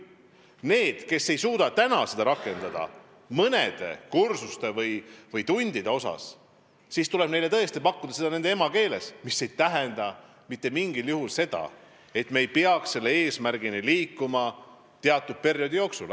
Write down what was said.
Nendele, kes ei suuda seda rakendada mõnes aines või mõnedes tundides, tuleb tõesti pakkuda õpet nende emakeeles, aga see ei tähenda mitte mingil juhul seda, et me ei peaks selle eesmärgini jõudma teatud perioodi jooksul.